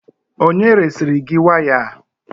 Onye resiri gị waya a?